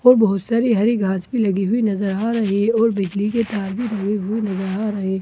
और बहुत सारी हरी घास भी लगी नजर आ रही है और बिजली के तार भी लगे नजर आ रहे हैं एक ब--